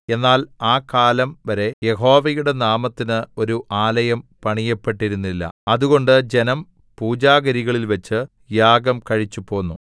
എന്നാൽ ആ കാലം വരെ യഹോവയുടെ നാമത്തിന് ഒരു ആലയം പണിയപ്പെട്ടിരുന്നില്ല അതുകൊണ്ട് ജനം പൂജാഗിരികളിൽവെച്ച് യാഗം കഴിച്ചുപോന്നു